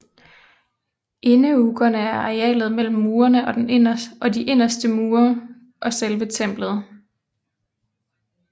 Indeukkerne er arealet mellem murene og mellem de inderste mure og selve templet